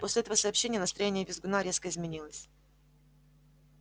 после этого сообщения настроение визгуна резко изменилось